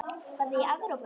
Var það í Evrópu?